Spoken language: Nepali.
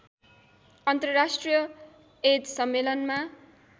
अन्तर्राष्ट्रिय एड्स सम्मेलनमा